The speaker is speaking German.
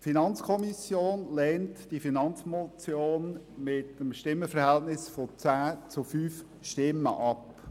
Die FiKo lehnt die Finanzmotion mit einem Stimmenverhältnis von 10 zu 5 Stimmen ab.